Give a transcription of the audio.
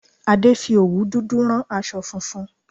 Adé fi òwú dúdú rán aṣọ funfun